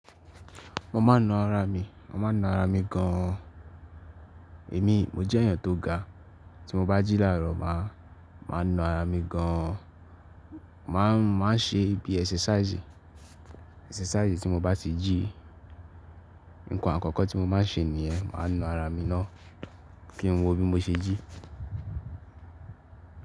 Mo má n na ara mi, mo má n na ara mi gan. Èmi, mo jẹ́ ẹ̀yàn tó ga, tí mo bá jí láàárọ̀ ma, ma n na ara mi gan. Ma ń ṣe bí exercisi, ẹxercisi tí mo bá ti jí. Nǹkan àkọ́kọ́ tí mo má ń ṣe nìyẹn, ma n na ara mi náà kí n wọ bí mo ṣe jí.